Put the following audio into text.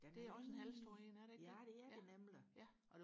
det er også en halvstor en er det ikke det ja ja